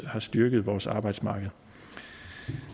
har styrket vores arbejdsmarked